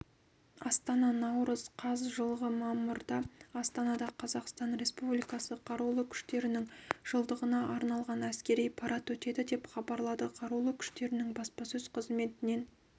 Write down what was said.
астана наурыз қаз жылғы мамырда астанада қазақстан республикасы қарулы күштерінің жылдығына арналған әскери парад өтеді деп хабарлады қарулы күштерінің баспасөз қызметінен